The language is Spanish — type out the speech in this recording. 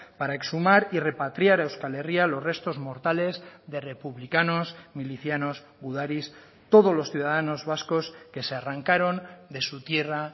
para exhumar y repatriar a euskal herria los restos mortales de republicanos milicianos gudaris todos los ciudadanos vascos que se arrancaron de su tierra